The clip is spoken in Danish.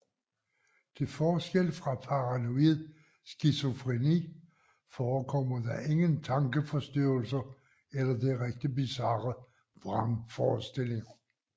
Til forskel fra paranoid skizofreni forekommer der ingen tankeforstyrrelser eller direkte bizarre vrangforestillinger